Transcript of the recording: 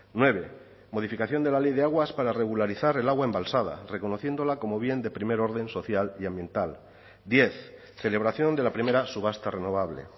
nueve modificación de la ley de aguas para regularizar el agua embalsada reconociéndola como bien de primer orden social y ambiental diez celebración de la primera subasta renovable